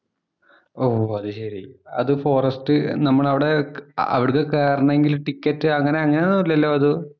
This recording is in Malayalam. ഓ, അതുശരി. അത് ഫോറസ്റ്റ് നമ്മള് അവിടെ അവിടേക്ക് കേറണമെങ്കില്‍ ടിക്കറ്റ് അങ്ങനെ അങ്ങനെയൊന്നും ഇല്ലല്ലോ അത്.